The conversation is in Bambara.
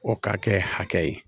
O ka kɛ hakɛ ye